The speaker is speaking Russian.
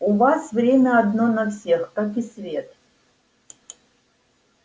у вас время одно на всех как и свет